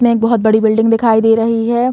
में एक बहोत बड़ी बिल्डिंग दिखाई दे रही हैं।